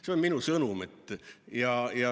See on minu sõnum.